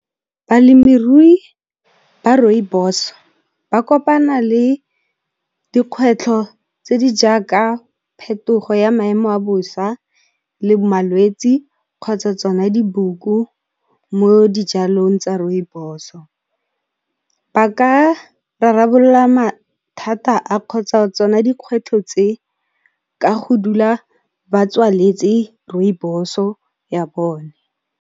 Balemirui ba rooibos-o ba kopana le dikgwetlho tse di jaaka, phetogo ya maemo a bosa le malwetsi kgotsa tsona diboko mo dijalong tsa rooibos-o. Ba ka rarabolla mathata a kgotsa tsona dikgwetlho tse ka go dula ba tswaletse rooibos-o ya bone.